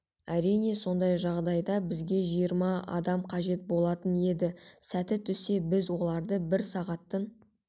әрине сондай жағдайда бізге жиырма адам қажет болатын еді сәті түссе біз оларды бір сағаттын